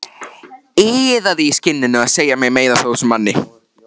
Iðaði í skinninu að segja mér meira af þessum manni.